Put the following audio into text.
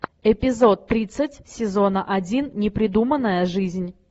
эпизод тридцать сезона один непридуманная жизнь